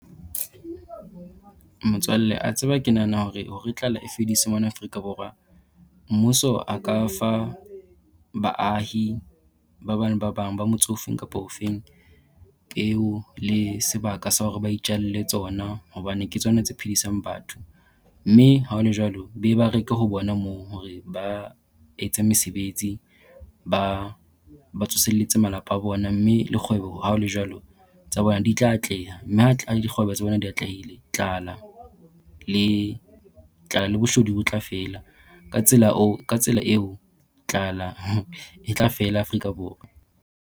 Motswalle a tseba ke nahana hore, hore tlala e fediswe mona Afrika Borwa, mmuso a ka fa baahi ba bang le ba bang ba motse ofeng kapa ofeng peo le sebaka sa hore ba itjalle tsona hobane ke tsona tse phedisang batho. Mme ha ho le jwalo, be ba reke ho bona moo hore ba etse mesebetsi, ba ba tsoselletse malapa a bona mme le kgwebo ha ho le jwalo tsa bona di tla atleha mme le dikgwebo tsa bona di atlehile tlala le tlala le boshodu bo tla fela ka tsela oo ka tsela eo tlala e tla fela Afrika Borwa.